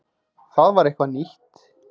Það var eitthvað nýtt.